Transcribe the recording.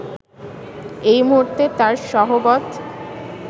এই মুহূর্তে তাঁর সহবৎ